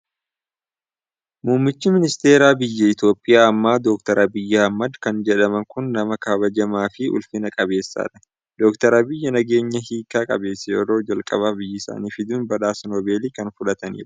Muummichi Ministeera biyya Itoophiyaa ammaa, Dookter Abiyyi Ahimed kan jedhaman kun nama kabajamaa fi ulfina qabeessadha. Dookter Abiyyi nageenya hiika qabeessa yeroo jalqabaaf biyya isaaniif fiduun badhaasa Noobelii kan fudhatanidha.